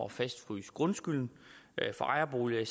fastfryse grundskylden for ejerboliger i